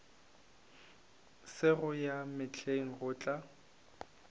sego ya mehleng go tlo